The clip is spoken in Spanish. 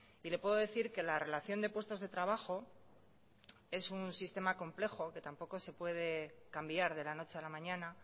y le puedo decir que la relación de puestos de trabajo es un sistema complejo que tampoco se puede cambiar de la noche a la mañana